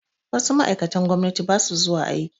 Wasu ma'aikatan gwamnati ba su zuwa aiki